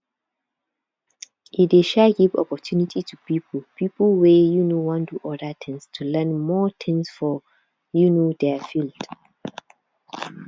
e dey um give opportunity to pipo pipo wey um wan do other things to learn more things for um their field